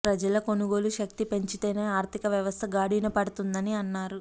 ప్రజల కొనుగోలు శక్తి పెంచితేనే ఆర్థిక వ్యవస్థ గాడిన పడుతుందని అన్నారు